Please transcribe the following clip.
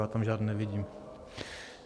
Já tam žádný nevidím.